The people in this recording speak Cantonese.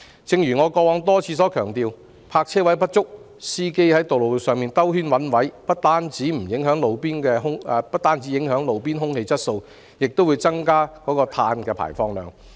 正如我以往多次強調，因為泊車位不足，司機被迫在路上繞圈子找泊位，這不但影響路邊空氣質素，亦會增加碳排放量。